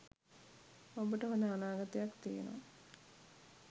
ඔබට හොඳ අනාගතයක් තියෙනවා